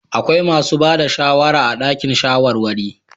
Akwai masu ba da shawara a dakin shawarwari.